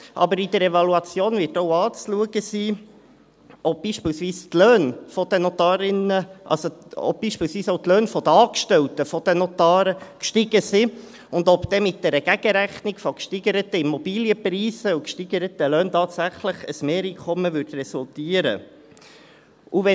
Aber in der Evaluation wird auch anzuschauen sein, ob beispielsweise die Löhne der Angestellten der Notare gestiegen sind und ob dann mit einer Gegenrechnung von gesteigerten Immobilienpreisen und gesteigerten Löhnen tatsächlich ein Mehreinkommen resultieren würde.